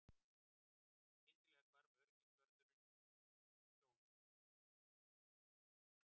Skyndilega hvarf öryggisvörðurinn sjónum.